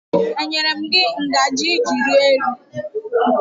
E nyere m gị ngaji iji rie nri?